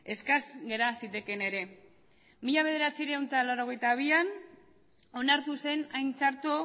eskas gera zitekeen ere mila bederatziehun eta laurogeita bian onartu zen hain txarto